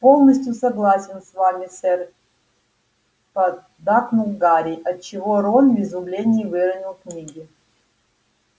полностью согласен с вами сэр поддакнул гарри отчего рон в изумлении выронил книги